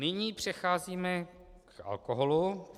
Nyní přecházíme k alkoholu.